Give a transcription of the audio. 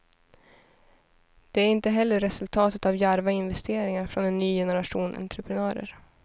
Den är heller inte resultatet av djärva investeringar från en ny generation entreprenörer.